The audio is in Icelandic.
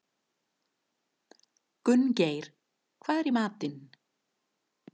Gunngeir, hvað er í matinn?